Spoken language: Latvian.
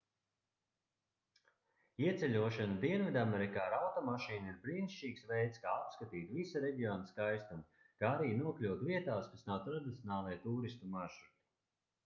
ieceļošana dienvidamerikā ar automašīnu ir brīnišķīgs veids kā apskatīt visa reģiona skaistumu kā arī nokļūt vietās kas nav tradicionālie tūristu maršruti